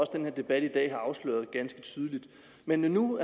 den her debat i dag har afsløret ganske tydeligt men når nu